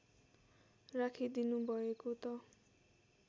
राखिदिनु भएको त